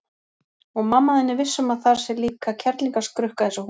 Og mamma er viss um að þar sé líka kerlingarskrukka eins og hún.